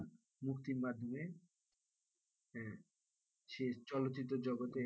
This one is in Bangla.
মুক্তির মাধ্যমে সে চলচ্চিত্র জগতে,